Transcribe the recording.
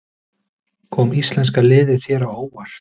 Kom íslenska liðið þér á óvart?